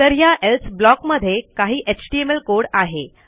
तर ह्या else block मध्ये काही एचटीएमएल कोड आहे